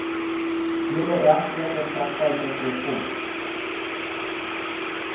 wederregtelike praktyke voorkom